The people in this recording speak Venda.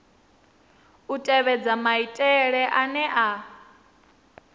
u tevhedza maitele ane a